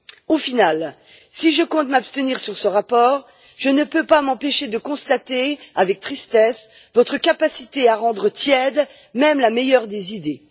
Au final, si je compte m'abstenir sur ce rapport, je ne peux pas m'empêcher de constater avec tristesse votre capacité à rendre tiède même la meilleure des idées.